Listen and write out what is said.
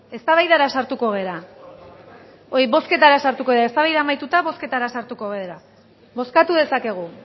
eztabaida amaituta bozketara sartuko gara bozkatu dezakegu